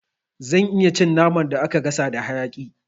Zan iya cin naman da aka gasa da hayaƙi